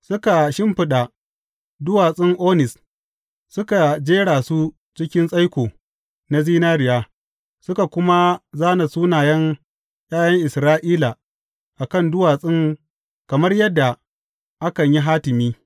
Suka shimfiɗa duwatsun onis, suka jera su cikin tsaiko na zinariya, suka kuma zāna sunayen ’ya’yan Isra’ila a kan duwatsun kamar yadda akan yi hatimi.